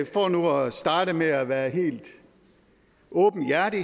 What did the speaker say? for nu at starte med at være helt åbenhjertig